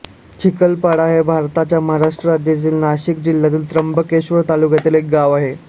चिखलपाडा हे भारताच्या महाराष्ट्र राज्यातील नाशिक जिल्ह्यातील त्र्यंबकेश्वर तालुक्यातील एक गाव आहे